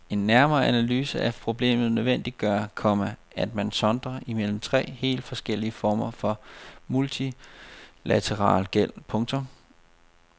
En nærmere analyse af problemet nødvendiggør, komma at man sondrer imellem tre helt forskellige former for multilateral gæld. punktum